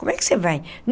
Como é que você vai?